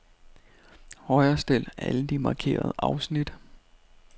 Højrestil alle de markerede afsnit.